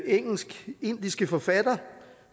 engelsk indiske forfatter